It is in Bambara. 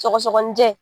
Sɔgɔsɔgɔnijɛ